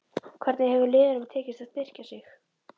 Hvernig hefur liðunum tekist að styrkja sig?